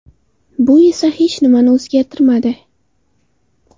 Bu esa hech nimani o‘zgartirmadi.